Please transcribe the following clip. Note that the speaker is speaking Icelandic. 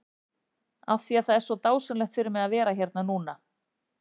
Af því að það er svo dásamlegt fyrir mig að vera hérna núna?